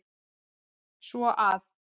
Svo að.